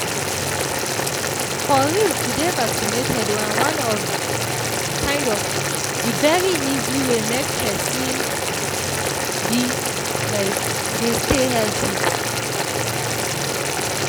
for real to dey vaccinated na one of um the very easy way make pesin um dey stay healthy